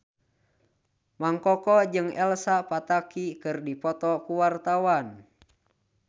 Mang Koko jeung Elsa Pataky keur dipoto ku wartawan